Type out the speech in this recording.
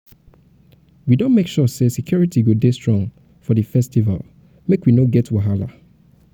we um don make sure say security go dey strong for di um festival make we um no get wahala.